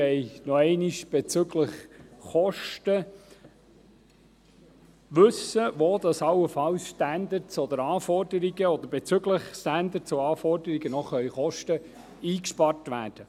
– Wir wollen nochmals bezüglich Kosten wissen, wo allenfalls Standards oder Anforderungen, oder bezüglich Standards und Anforderungen, noch Kosten eingespart werden können.